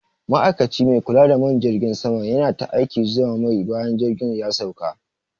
Ma'ikaci mai kula da man jirgin sama yana ta aikin zuba mai bayan jirgin ya sauka.